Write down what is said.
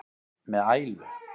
með ælu.